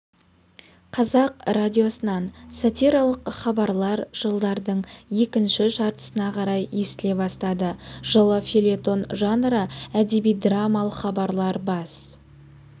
қазақ радиосынан сатиралық хабарлар жылдардың екінші жартысына қарай естіле бастады жылы фельетон жанры әдеби-драмалық хабарлар бас